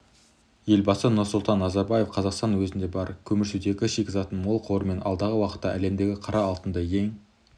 елбасы нұрсұлтан назарбаев қазақстан өзінде бар көмірсутегі шикізатының мол қорымен алдағы уақытта әлемдегі қара алтынды ең